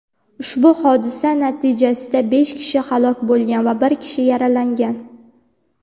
Ushbu hodisa natijasida besh kishi halok bo‘lgan va bir kishi yaralangan.